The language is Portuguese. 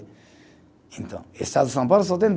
Então, o estado de São Paulo só tem